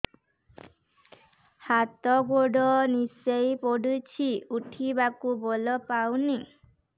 ହାତ ଗୋଡ ନିସେଇ ପଡୁଛି ଉଠିବାକୁ ବଳ ପାଉନି